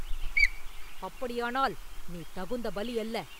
“அப்படியானால், நீ தகுந்த பலி அல்ல!